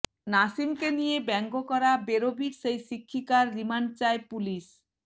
নাসিমকে নিয়ে ব্যঙ্গ করা বেরোবির সেই শিক্ষিকার রিমান্ড চায় পুলিশ